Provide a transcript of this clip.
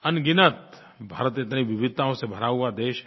अनगिनत भारत इतनी विविधताओं से भरा हुआ देश है